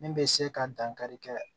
Min bɛ se ka dankari kɛ